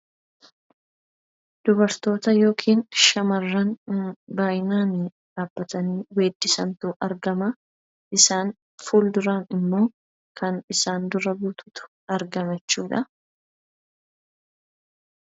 Dubartoota ( shamarran) baay'inaan dhaabbatanii weeddisantu argama. Isaan fuulduraan immoo kan isaan dura buututu argama jechuu dha.